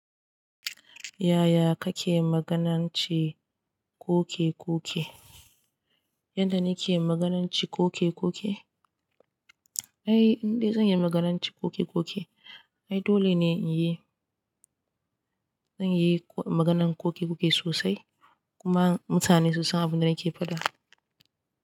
Yaya kake magananci koke koke? Yanda nake magananci koke koke? Ai, in dai zanyi magananci koke koke. Ai dole ne in yi, zan yi maganan koke koke sosai kuma mutane sun san abin da nake faɗa.